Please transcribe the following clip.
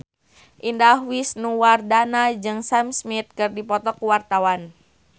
Indah Wisnuwardana jeung Sam Smith keur dipoto ku wartawan